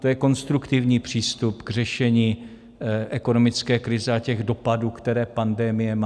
To je konstruktivní přístup k řešení ekonomické krize a těch dopadů, které pandemie má.